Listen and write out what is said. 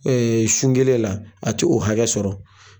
sun kelen la a ti o hakɛ sɔrɔ.